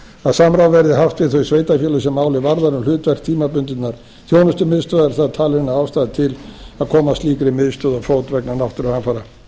að samráð verði haft við þau sveitarfélög sem málið varðar um hlutverk tímabundinnar þjónustumiðstöðvar var talin ástæða til að koma slíkri miðstöð á fót vegna náttúruhamfara